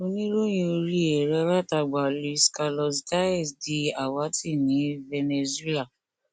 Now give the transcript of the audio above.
oníròyìn orí ẹrọalátagbà luis carlos diaz di àwátì ní venezuela